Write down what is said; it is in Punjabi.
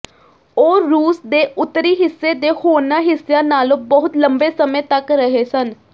ਉਹ ਰੂਸ ਦੇ ਉੱਤਰੀ ਹਿੱਸੇ ਦੇ ਹੋਰਨਾਂ ਹਿੱਸਿਆਂ ਨਾਲੋਂ ਬਹੁਤ ਲੰਬੇ ਸਮੇਂ ਤੱਕ ਰਹੇ ਸਨ